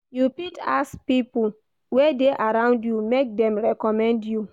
You fit ask pipo wey de around you make dem reccomend you